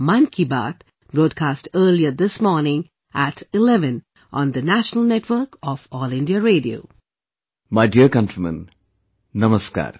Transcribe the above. My dear countrymen, Namaskar